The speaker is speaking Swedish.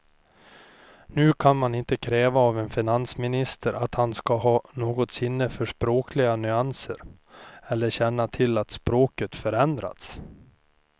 Nu kan man inte kräva av en finansminister att han ska ha något sinne för språkliga nyanser eller känna till att språket förändrats.